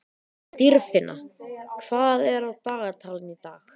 Dýrfinna, hvað er á dagatalinu í dag?